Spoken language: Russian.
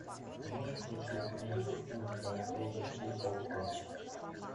можешь включить нефть ультра эйч ди окко